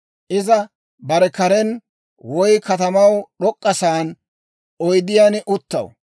Iza bare karen, woy katamaw d'ok'k'a sa'aan oydiyaan uttaw.